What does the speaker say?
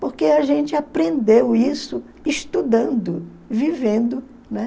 Porque a gente aprendeu isso estudando, vivendo, né?